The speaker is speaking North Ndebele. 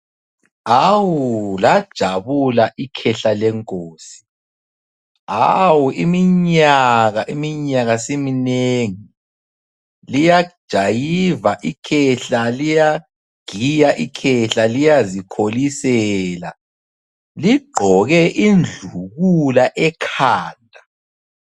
Awu! Lajabula ikhehla lenkosi, awu! iminyaka, iminyaka simi nengi. Liyajayiva ikhehla, liyagiya ikhehla liyazikholisela. Ligqoke indlukula ekhanda.